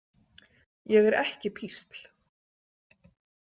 Ég er ekki písl